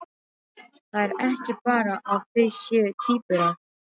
Það er ekki bara að þau séu tvíburar.